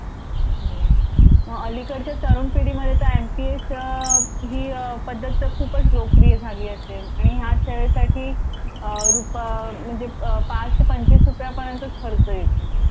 मग अलीकडच्या तरुण पिढीमध्ये तर एम पी एस ही पद्धत तर खूपच लोकप्रिय झाली असेल. आणि ह्या सेवेसाठी अ रूप अ म्हणजे पाच ते पंचवीस रुपया पर्यंत खर्च येतो